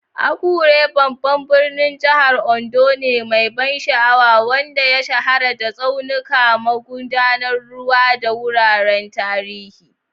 Akure babban birnin jihar Ondo ne mai ban sha'awa, wanda ya shahara da tsaunuka, magudanan ruwa, da wuraren tarihi.